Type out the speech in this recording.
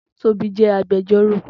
Tobi jè ágbèjòró